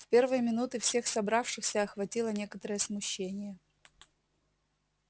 в первые минуты всех собравшихся охватило некоторое смущение